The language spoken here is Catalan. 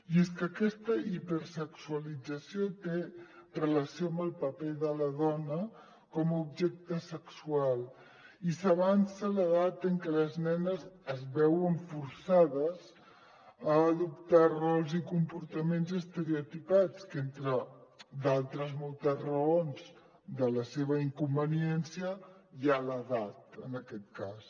i és que aquesta hipersexualització té relació amb el paper de la dona com a objecte sexual i s’avança l’edat en què les nenes es veuen forçades a adoptar rols i compor·taments estereotipats que entre d’altres moltes raons de la seva inconveniència hi ha l’edat en aquest cas